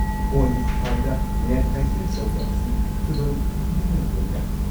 ꯐꯣꯟꯒꯤ ꯈꯨꯠꯊꯥꯡꯗ net banking ꯇꯧꯕ ꯑꯁꯤ ꯈꯨꯗꯣꯡꯊꯤꯅꯤꯡꯉꯥꯏ ꯑꯣꯢꯕ꯭ꯔꯥ ?